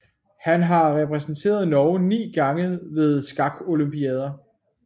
Han har repræsenteret Norge 9 gange ved skakolympiader